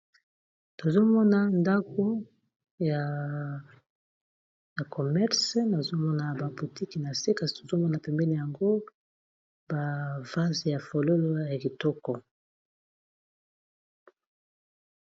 Tozomona ndako ya commerce nazomona ba boutiki na se kasi tozomona pembeni nango ba vaze ya fololo ya kitoko.